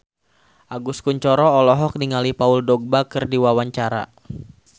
Agus Kuncoro olohok ningali Paul Dogba keur diwawancara